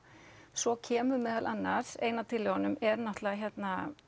svo kemur meðal annars ein af tillögunum er náttúrulega hérna